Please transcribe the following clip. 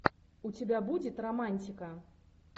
у тебя будет романтика